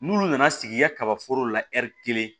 N'olu nana sigi i ka kaba foro la ɛri kelen